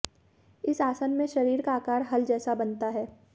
इस आसन में शरीर का आकार हल जैसा बनता है